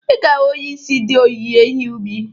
Ị ga-ahụ onyeisi ndị onyinye ihe ubi